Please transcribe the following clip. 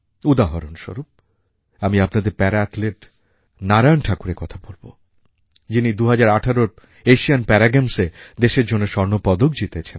উদাহরণস্বরূপ আমি আপনাদের প্যারা অ্যাথলেট নারায়ণ ঠাকুরের কথা বলবো যিনি ২০১৮র এশিয়ান প্যারা গেমসে দেশের জন্য স্বর্ণ পদক জিতেছেন